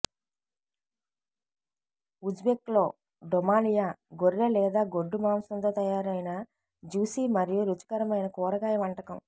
ఉజ్బెక్లో డొమాలియా గొర్రె లేదా గొడ్డు మాంసంతో తయారైన జ్యుసి మరియు రుచికరమైన కూరగాయ వంటకం